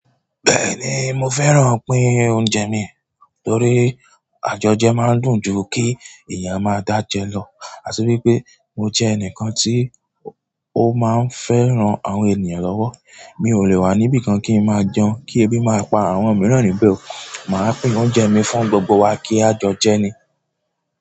Bẹ́ẹ̀ni mo fẹ́ràn pín oúnjẹ mi torí àjọjẹ máa ń dùn ju kí èèyàn máa dá jẹ lọ. Àti wipé mo jẹ́ ẹnìkan tí ó máa ń fẹ́ ran àwọn ènìyàn lọ́wọ́. Mi o le wa ni ibìkan ki n maa jẹun ki ebi ma pa àwọn miran níbẹ̀ o. Máa pín oúnjẹ mi fún gbogbo wa kí a jọ jẹ ni.